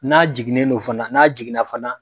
N'a jiginnen do fana n'a jiginna fana